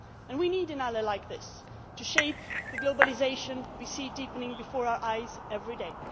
We need an ally like this to shape the globalisation we see deepening before our eyes every day.